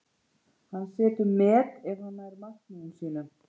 Hann setur met ef hann nær markmiðum sínum.